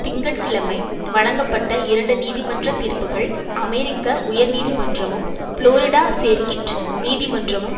திங்க கிழமை வழங்கப்பட்ட இரண்டு நீதிமன்ற தீர்ப்புக்கள் அமெரிக்க உயர் நீதிமன்றமும் புளோரிடா சேர்க்கிட் நீதிமன்றமும்